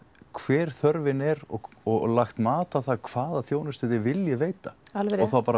hver þörfin er og og lagt mat á það hvaða þjónustu þið viljið veita og þá bara